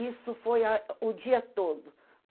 Isso foi a o dia todo.